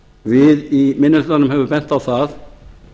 við í minni hlutanum höfum bent á það